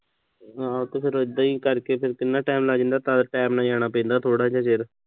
ਹਾਂ ਤੇ ਫਿਰ ਇਦਾਂ ਈ ਕਰਕੇ ਫਿਰ ਕਿੰਨਾ time ਲੱਗ ਜਾਂਦਾ ਤਾਂ ਕਰਕੇ time ਨਾਲ ਜਾਣਾ ਪੈਂਦਾ, ਥੋੜ੍ਹਾ ਜਾ ਚਿਰ।